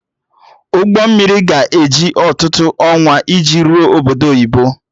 Ụgbọ mmiri ga-eji ọtụtụ ọnwa iji rụọ obodo oyibo